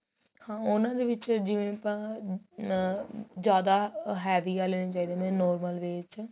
ਹਾਂ ਉਹਨਾ ਦੇ ਵਿੱਚ ਜਿਵੇਂ ਆਪਾਂ ਨ ਜਿਆਦਾ heavy ਵਾਲੇ ਜਿਹੜੇ ਨੇ normal way ਚ